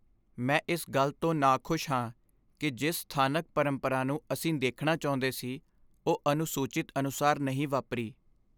ਮੈਂ ਇਸ ਗੱਲ ਤੋਂ ਨਾਖੁਸ਼ ਹਾਂ ਕਿ ਜਿਸ ਸਥਾਨਕ ਪਰੰਪਰਾ ਨੂੰ ਅਸੀਂ ਦੇਖਣਾ ਚਾਹੁੰਦੇ ਸੀ, ਉਹ ਅਨੁਸੂਚਿਤ ਅਨੁਸਾਰ ਨਹੀਂ ਵਾਪਰੀ।